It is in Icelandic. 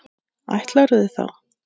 Ætlarðu þá.?